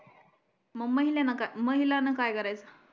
मग महिला न काय कराच